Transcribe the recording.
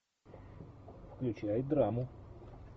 включай драму